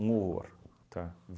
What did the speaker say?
Um horror, tá?